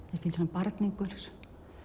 barningur